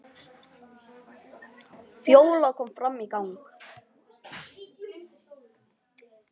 Fjóla kom fram í gang.